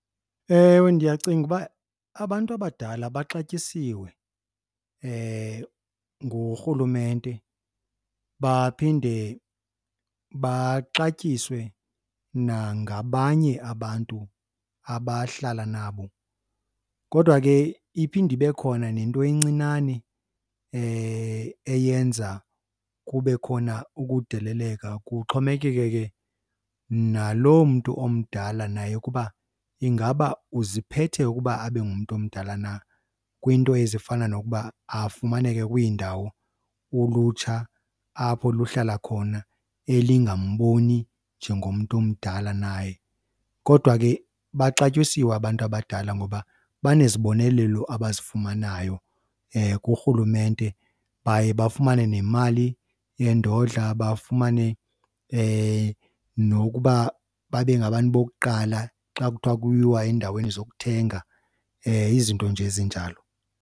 Ewe, ndiyacinga uba abantu abadala baxatyisiwe ngurhulumente baphinde baxatyiswe nangabanye abantu abahlala nabo. Kodwa ke iphinde ibe khona nento encinane eyenza kube khona ukudeleleka. Kuxhomekeke ke naloo mntu omdala naye ukuba ingaba uziphethe ukuba abe ngumntu omdala na kwiinto ezifana nokuba afumaneke kwiindawo ulutsha apho luhlala khona elingamboni njengomntu omdala naye. Kodwa ke baxatyisiwe abantu abadala ngoba banezibonelelo abazifumanayo kurhulumente, baye bafumane nemali yendodla bafumane nokuba babe ngabantu bokuqala xa kuthiwa kuyiwa endaweni zokuthenga. Izinto nje ezinjalo.